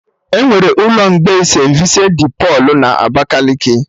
Enwere ụlọ mgbei St.Vincent dị Pọlụ na Abakaliki